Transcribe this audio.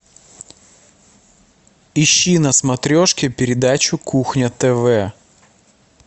ищи на смотрешке передачу кухня тв